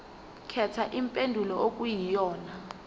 khetha impendulo okuyiyona